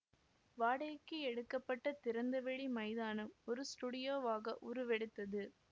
வாடகைக்கு எடுக்க பட்ட திறந்தவெளி மைதானம் ஒரு ஸ்டுடியோவாக உருவெடுத்தது